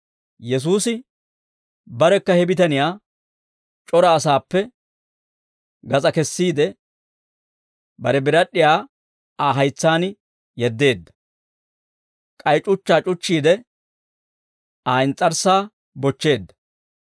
Yesuusi barekka he bitaniyaa c'ora asaappe gas'aa kessiide, bare birad'd'iyaa Aa haytsaan yeddeedda; k'ay c'uchchaa c'uchchiide, Aa ins's'arssaa bochcheedda.